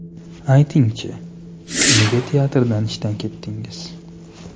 Ayting-chi, nega teatrdan ishdan ketdingiz?